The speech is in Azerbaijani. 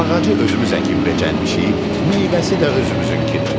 Ağacı özümüz əkib becərmişik, meyvəsi də özümüzünkidir.